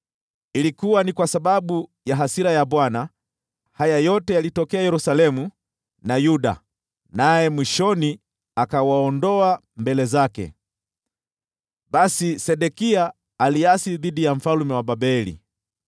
Ilikuwa ni kwa sababu ya hasira ya Bwana haya yote yalitokea Yerusalemu na Yuda, naye mwishoni akawaondoa mbele zake. Basi, Sedekia akaasi dhidi ya mfalme wa Babeli.